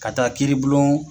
Ka taa kiribulon